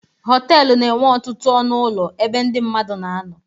Họtelụ na-enwe ọtụtụ ọnụ ụlọ ebe ndị mmadụ na-anọ.